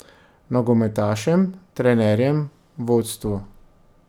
Nogometašem, trenerjem, vodstvu ...